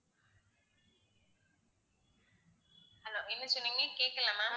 hello என்ன சொன்னீங்க கேக்கல ma'am